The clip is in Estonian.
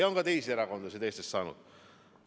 Ja on ka teised erakonnad Eestis raha saanud.